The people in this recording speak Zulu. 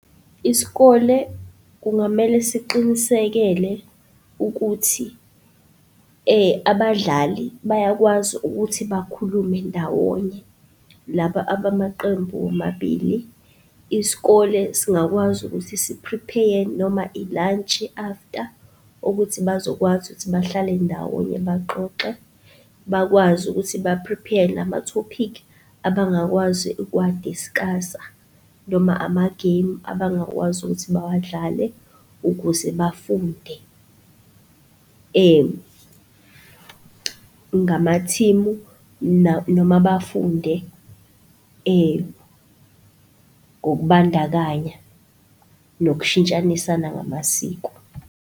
Isikole kungamele siqinisekele ukuthi abadlali bayakwazi ukuthi bakhulume ndawonye, laba abamaqembu womabili, isikole singakwazi ukuthi si-prepare-ye noma ilantshi after, ukuthi bazokwazi ukuthi bahlale ndawonye baxoxe bakwazi ukuthi ba-prepare-ye namathophikhi, abangakwazi ukuwa-discuss-a noma amagemu abangakwazi ukuthi bawadlale ukuze bafunde ngamathimu noma bafunde ngokubandakanya nokushitshanisana ngamasiko.